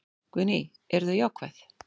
Guðný: Eru þau jákvæð?